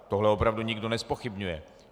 Tohle opravdu nikdo nezpochybňuje.